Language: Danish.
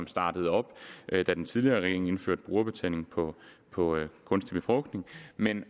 startede op da den tidligere regering indførte brugerbetaling på kunstig befrugtning men